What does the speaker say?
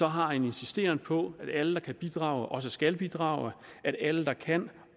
har en insisteren på at alle der kan bidrage også skal bidrage og at alle der kan